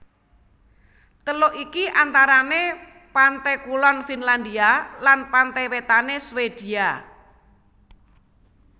Teluk iki antarane pante kulon Finlandia lan pante wetane Swedia